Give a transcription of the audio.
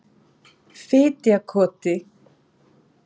Fitjakoti